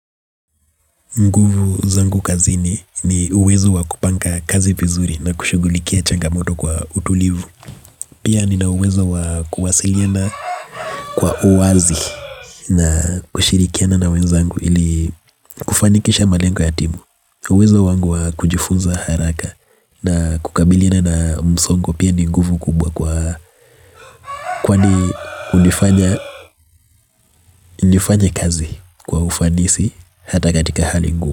Nguvu zangu kazini ni uwezo wakupanga kazi vizuri na kushulikia changamoto kwa utulivu. Pia nina uwezo wa kuwasiliyana kwa uwazi na kushirikiana na wenzangu. Ili kufanikisha malengo ya timu. Uwezo wangu wa kujifunza haraka na kukabiliyana na msongo. Pia ni nguvu kubwa kwa kwanifanya kazi kwa ufanisi. Hata katika hali ngumu.